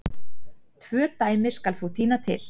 Tvö dæmi skal þó tína til.